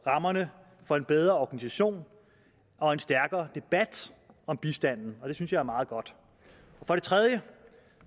rammerne for en bedre organisation og en stærkere debat om bistanden og det synes jeg er meget godt for det tredje